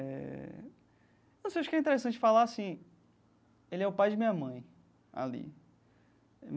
Eh não sei acho que é interessante falar sim, ele é o pai de minha mãe ali.